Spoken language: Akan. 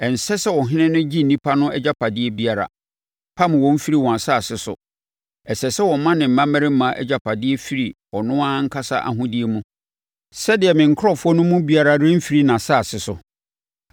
Ɛnsɛ sɛ ɔhene no gye nnipa no agyapadeɛ biara, pam wɔn firi wɔn asase so. Ɛsɛ sɛ ɔma ne mmammarima agyapadeɛ firi ɔno ankasa ahodeɛ mu, sɛdeɛ me nkurɔfoɔ mu biara remfiri nʼasase so.’ ”